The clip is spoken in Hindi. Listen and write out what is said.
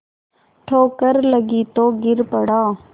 ठोकर लगी तो गिर पड़ा